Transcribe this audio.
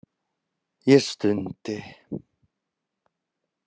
Ég stundi.